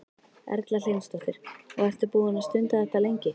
Erla Hlynsdóttir: Og ertu búinn að stunda þetta lengi?